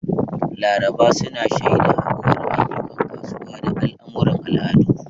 Laraba su na shaida haɗuwar ayyukan kasuwa da al'amuran al'adu.